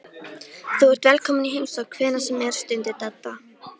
Þú ert velkominn í heimsókn hvenær sem er stundi Dadda.